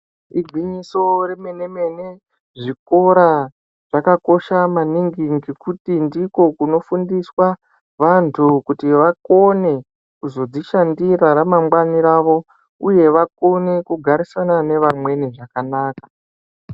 Igwinyiso remene-mene zvikorq zvakakosha maningi ngekuti ndiko kunofundiswa vanthu kuti vakone kuzodzishandirq ramangwani ravo uye vakone kugarisana nevamweni zvakanaka.